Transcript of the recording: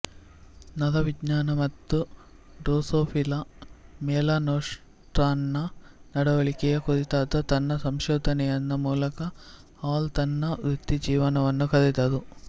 ನರವಿಜ್ಞಾನ ಮತ್ತು ಡ್ರೊಸೊಫಿಲಾ ಮೆಲನೊಸ್ಟರ್ನ ನಡವಳಿಕೆಯ ಕುರಿತಾದ ತನ್ನ ಸಂಶೋಧನೆಯ ಮೂಲಕ ಹಾಲ್ ತನ್ನ ವೃತ್ತಿಜೀವನವನ್ನು ಕಳೆದರು